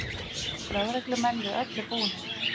Lögreglumenn við öllu búnir